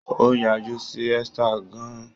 Ó yájú sí Esther gan-an.